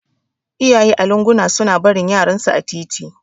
Iyaye a lunguna suna barin yaran su a titi